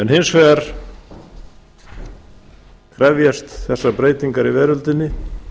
hins vegar krefjast þessar breytingar í veröldinni